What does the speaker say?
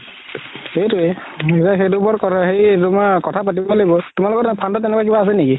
সেইতোৱে হেৰি তুমাৰ কথা পাতিব লাগিব তোমালোকৰ তাত তেনেকুৱা কিবা আছে নেকি